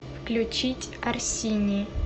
включить орсини